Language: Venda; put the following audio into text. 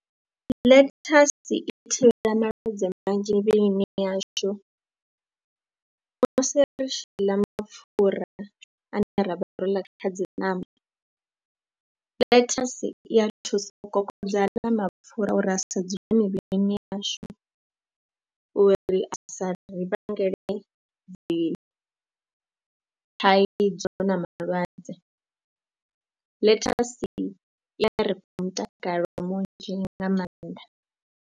Ḽethasi i thivhela malwadze manzhi mivhilini yashu musi ri tshi ḽa mapfhura ane rabvha ro ḽa kha dzi ṋama, ḽethasi i ya thusa u kokodza ḽa mapfhura uri a sedzuluse mivhilini yashu uri a sa ri vhangele dzi thaidzo na malwadze. Ḽethasi I ya ri fha mutakalo munzhi nga maanḓa.